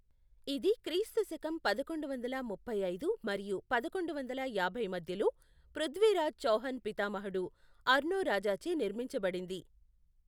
ఇది క్రీస్తు శకం పదకొండు వందల ముప్పై ఐదు మరియు పదకొండు వందల యాభై మధ్యలో పృథ్వీరాజ్ చౌహాన్ పితామహుడు అర్నోరాజాచే నిర్మించబడింది.